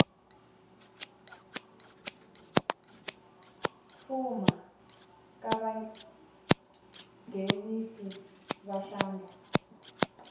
fuma ka vanghenisi va xandla